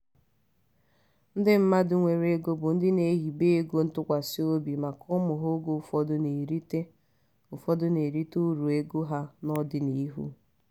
ndị mmadụ nwere ego bụ ndị na-ehibe ego ntụkwasị obi maka ụmụ ha oge ụfọdụ na-erite ụfọdụ na-erite uru ego ha n'ọdịniihu.